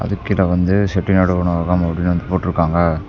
கீழ வந்து செட்டிநாடு உணவகம் அப்டின்னு வந்து போட்ருக்காங்க.